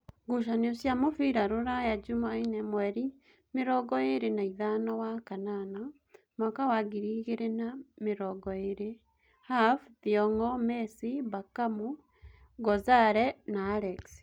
Ngucanio cia mũbira Ruraya Jumaine mweri mĩrongoĩrĩ naithano wakanana mwaka wa ngiri igĩrĩ na namĩrongoĩrĩ: Have, Thiong'o, Mesi, Mbakamu, Ngozare, Alex